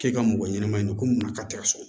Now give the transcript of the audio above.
K'e ka mɔgɔ ɲɛnama ɲini ko mun na k'a tɛ ka so